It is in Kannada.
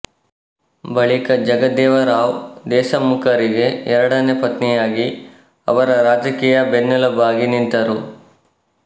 ಬಳಿಕ ಜಗದೇವರಾವ ದೇಶಮುಖರಿಗೆ ಎರಡನೇ ಪತ್ನಿಯಾಗಿ ಅವರ ರಾಜಕೀಯ ಬೆನ್ನೆಲುಬಾಗಿ ನಿಂತರು